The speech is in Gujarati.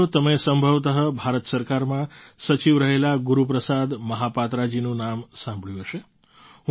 સાથીઓ તમે સંભવતઃ ભારત સરકારમાં સચિવ રહેલા ગુરુપ્રસાદ મહાપાત્રજીનું નામ સાંભળ્યું હશે